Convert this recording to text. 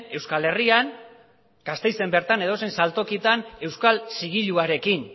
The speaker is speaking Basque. euskal herrian gasteizen bertan edozein saltokietan euskal zigiluarekin